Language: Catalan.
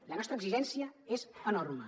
la nostra exigència és enorme